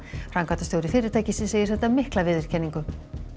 framkvæmdastjóri fyrirtækisins segir þetta mikla viðurkenningu